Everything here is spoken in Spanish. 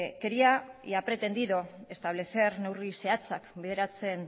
quería y ha pretendido establecer neurri zehatzak bideratzen